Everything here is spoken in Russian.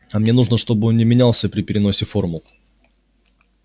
а мне нужно чтобы он не менялся при переносе формул